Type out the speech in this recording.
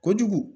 Kojugu